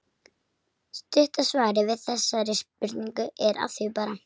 Stutta svarið við þessari spurningu er: Að því bara!